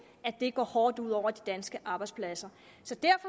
går hårdt ud over de danske arbejdspladser